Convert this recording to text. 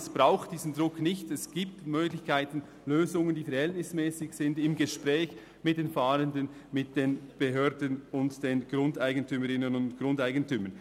Es braucht diesen Druck nicht, es gibt Möglichkeiten für Lösungen, die verhältnismässig sind – im Gespräch mit den Fahrenden, mit den Behörden und den Grundeigentümerinnen und Grundeigentümern.